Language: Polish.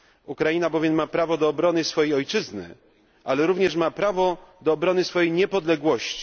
Ukraina bowiem ma prawo do obrony swojej ojczyzny, ale również ma prawo, do obrony swojej niepodległości.